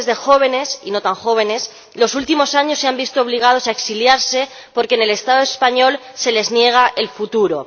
de miles de jóvenes ―y no tan jóvenes― en los últimos años se han visto obligados a exiliarse porque en el Estado español se les niega el futuro.